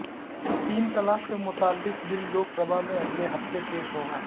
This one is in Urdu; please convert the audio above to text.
تین طلاق سے متعلق بل لوک سبھا میں اگلے ہفتے پیش ہوگا